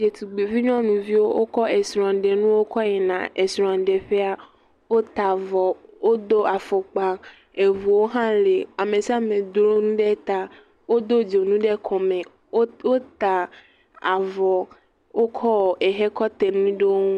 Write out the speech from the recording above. Ɖetugbuivi nyɔnuviwo wokɔ srɔ̃ɖenuwo kɔ yina srɔ̃ɖeƒea, wota avɔ wodo afɔkpa eŋuwo hã lee ame sia ame dro nu ɖe ta wodo dzonu ɖe kɔme, wota avɔ wokɔɔ ehe kɔ te nu ɖe wo ŋu.